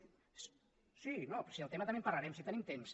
però si del tema també en parlarem si tenim temps